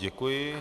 Děkuji.